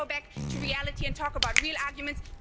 Let's go back to reality and talk about real arguments.